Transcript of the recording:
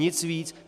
Nic víc.